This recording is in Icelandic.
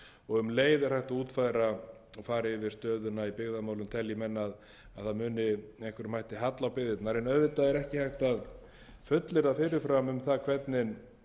um leið er hægt að útfæra og fara yfir stöðuna í byggðamálum telji menn að það muni með einhverjum hætti falla á byggðirnar en auðvitað er ekki hægt að fullyrða fyrir fram um það hvernig